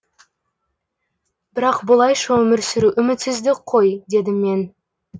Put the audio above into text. бірақ бұлайша өмір сүру үмітсіздік қой дедім мен